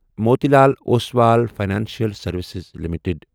Motilal Oswal financial services limited